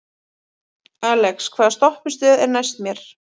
Alex, hvaða stoppistöð er næst mér?